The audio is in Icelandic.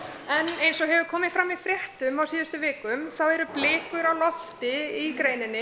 eins og hefur komið fram í fréttum á síðustu vikum þá eru blikur á lofti í greininni